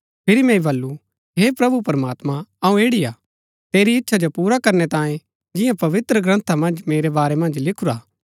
फिरी मैंई बल्लू हे प्रभु प्रमात्मां अऊँ ऐड़ी हा तेरी इच्छा जो पुरा करनै तांये जियां पवित्रग्रन्था मन्ज मेरै बारै मन्ज लिखुरा हा